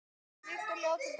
Lykt og hljóð til dæmis.